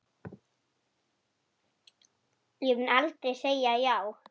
Ég mun aldrei segja já.